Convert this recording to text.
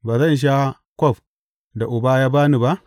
Ba zan sha kwaf da Uba ya ba ni ba?